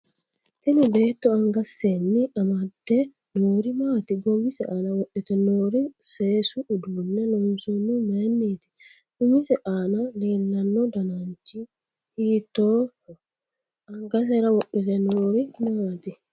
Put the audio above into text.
Tini beetto angasenni amdede noori maati goowise aana wodhite noori seesu uduune loonsoonihu mayiiniti umise aana leelanno dananichi hiitooho angasera wodhite noiri maati